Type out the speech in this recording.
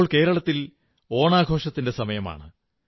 ഇപ്പോൾ കേരളത്തിൽ ഓണാഘോഷത്തിന്റെ സമയമാണ്